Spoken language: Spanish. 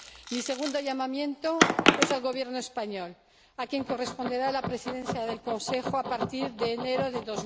Mi segundo llamamiento es al Gobierno español, a quien corresponderá la Presidencia en ejercicio del Consejo a partir de enero de